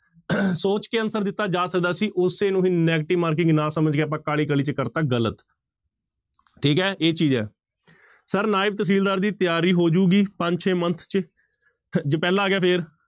ਸੋਚ ਕੇ answer ਦਿੱਤਾ ਜਾ ਸਕਦਾ ਸੀ ਉਸੇ ਨੂੰ ਹੀ negative marking ਨਾ ਸਮਝ ਕੇ ਆਪਾਂ ਕਾਹਲੀ ਕਾਹਲੀ ਵਿੱਚ ਕਰ ਦਿੱਤਾ ਗ਼ਲਤ ਠੀਕ ਹੈ ਇਹ ਚੀਜ਼ ਹੈ, ਸਰ ਨਾਇਬ ਤਹਿਸ਼ੀਲਦਾਰ ਦੀ ਤਿਆਰੀ ਹੋ ਜਾਊਗੀ ਪੰਜ ਛੇ month ਚ ਜੇ ਪਹਿਲਾ ਆ ਗਿਆ ਫਿਰ।